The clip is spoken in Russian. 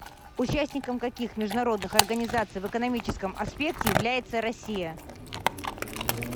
участником каких международных организаций в экономическом аспекте является россия